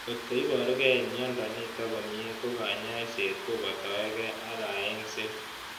Kotko iparukei miondo nitok komie ko kanyaiset kopatakei ak kaeng'set